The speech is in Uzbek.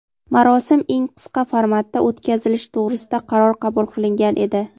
marosim eng qisqa formatda o‘tkazilishi to‘g‘risida qaror qabul qilingan edi.